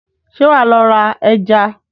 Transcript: Ṣé wàá lọ ra ẹja?